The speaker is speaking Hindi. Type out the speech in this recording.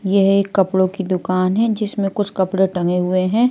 यह एक कपड़ों की दुकान है जिसमें कुछ कपड़े टंगे हुए हैं।